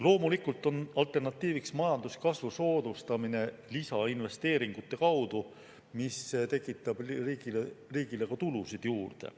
Loomulikult oleks alternatiiv majanduskasvu soodustamine lisainvesteeringute kaudu, mis tekitaks riigile tulusid juurde.